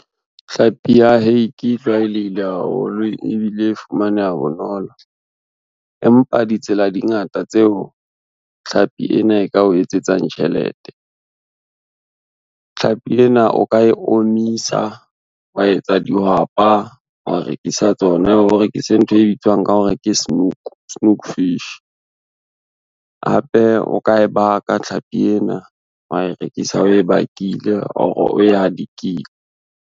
Tlhapi ya hake e tlwaelehile haholo ebile e fumaneha bonolo. Empa ditsela di ngata tseo tlhapi ena e ka o etsetsang tjhelete. Tlhapi ena o ka e omisa, wa etsa dihwapa, wa rekisa tsona o rekise ntho e bitswang ka hore ke snoek, snoek fish hape o ka e baka tlhapi ena wa e rekisa oe bakile or oe hadikile.